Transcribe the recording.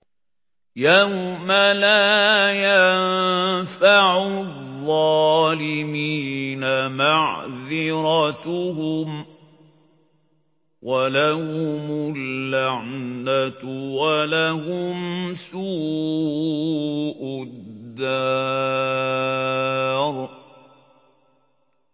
يَوْمَ لَا يَنفَعُ الظَّالِمِينَ مَعْذِرَتُهُمْ ۖ وَلَهُمُ اللَّعْنَةُ وَلَهُمْ سُوءُ الدَّارِ